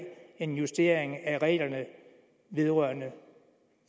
en justering af reglerne vedrørende